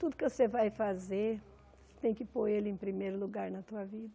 Tudo que você vai fazer, tem que pôr Ele em primeiro lugar na tua vida.